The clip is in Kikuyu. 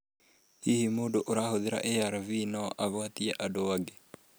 Hihi mũndũ arahũthĩra ARV no agwatie andũ angĩ?